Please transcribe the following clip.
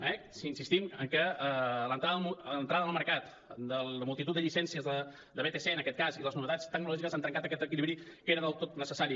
eh insistim en què l’entrada en el mercat de multitud de llicències de vtc en aquest cas i les novetats tecnològiques han trencat aquest equilibri que era del tot necessari